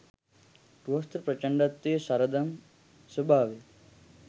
ගෘහස්ථ ප්‍රචන්ඩත්වයේ සරදම් ස්වභාවය .